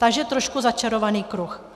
Takže trochu začarovaný kruh.